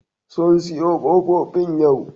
Sun siyo ƙofofin yau